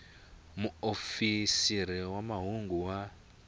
xa muofisiri wa mahungu wa